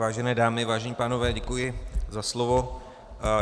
Vážené dámy, vážení pánové, děkuji za slovo.